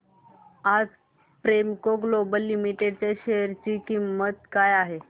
आज Premco Global Limited च्या share ची किंमत काय आहे